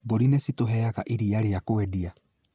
Mbũri nĩ citũheaga iria rĩa kwendia